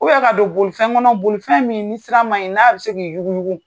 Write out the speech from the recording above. ka don bolifɛn kɔnɔ, bolifɛn min ni sira ma ɲi , n'a bɛ se k' i yugu yugu